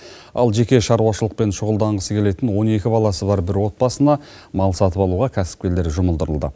ал жеке шаруашылықпен шұғылданғысы келетін он екі баласы бар бір отбасына мал сатып алуға кәсіпкерлер жұмылдырылды